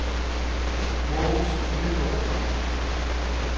Mogens Nygaard